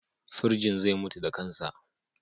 Firjin zai mutu da kansa.